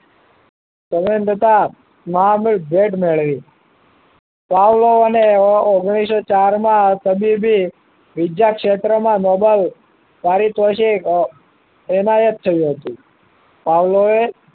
સંબંધતા મહામૂળ જેઠ મેળવી પાવલો એ અને ઓગ્નીશો ચાર માં તબીબી બીજા ક્ષેત્રમાં મોબાઈલ પારીતોષિત એમાયત થયું હતું પાવલો